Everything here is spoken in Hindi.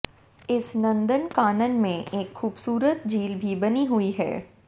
इस नंदन कानन में एक खूबसूरत झील भी बनी हुई है